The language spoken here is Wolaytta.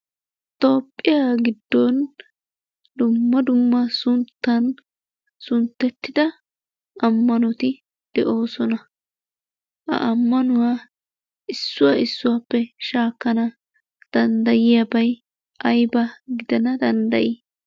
Toophiyaa giddon dumma dumma sunttan sunttetda ammanoti de'oosona. Ha ammanuwaa issuwa issuwappe shaakana danddayiyaabay aybba gidana dandday?